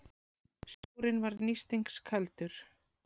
Sjórinn var nístingskaldur.